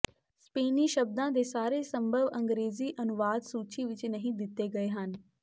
ਸਪੇਨੀ ਸ਼ਬਦਾਂ ਦੇ ਸਾਰੇ ਸੰਭਵ ਅੰਗਰੇਜ਼ੀ ਅਨੁਵਾਦ ਸੂਚੀ ਵਿੱਚ ਨਹੀਂ ਦਿੱਤੇ ਗਏ ਹਨ